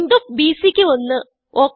length of BCക്ക് 1